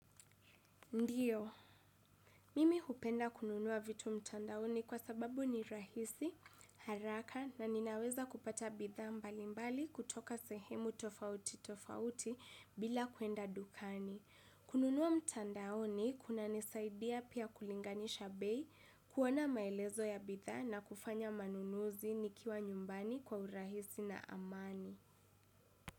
Ndiyo, mimi hupenda kununua vitu mtandaoni kwa sababu ni rahisi, haraka na ninaweza kupata bidhaa mbalimbali kutoka sehemu tofauti tofauti bila kuenda dukani. Kununua mtandaoni kunanisaidia pia kulinganisha bei kuona maelezo ya bidhaa na kufanya manunuzi nikiwa nyumbani kwa urahisi na amani.